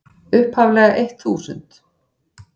upphaflega eitt þúsund.